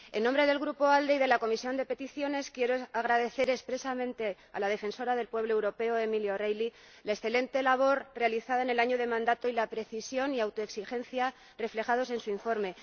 En nombre del Grupo ALDE y de la Comisión de Peticiones, quiero agradecer expresamente a la Defensora del Pueblo Europeo, Emily O'Reilly, la excelente labor realizada en el año de mandato y la precisión y autoexigencia reflejadas en su informe.